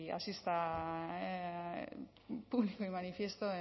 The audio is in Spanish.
así pusimos de manifiesto